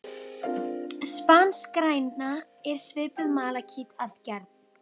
Spanskgræna er svipuð malakíti að gerð.